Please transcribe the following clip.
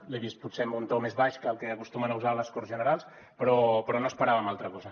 l’he vist potser amb un to més baix que el que acostumen a usar a les corts generals però no esperàvem altra cosa